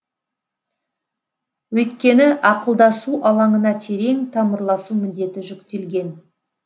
өйткені ақылдасу алаңына терең тамырласу міндеті жүктелген